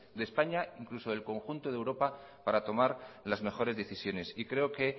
de españa e incluso del conjunto de europa para tomar las mejores decisiones y creo que